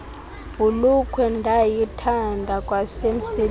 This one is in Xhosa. bhulukhwe ndandiyithanda kwasemsebenzini